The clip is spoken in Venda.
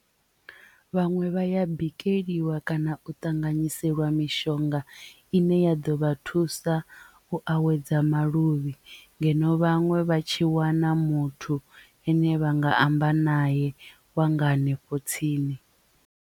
Vhaṅwe vha ya bikeliwa kana u ṱanganyiseliwa mishonga ine ya ḓo vha thusa u awedza maluvhi ngeno vhaṅwe vha tshi wana muthu ane vha nga amba naye wa nga hanefho tsini.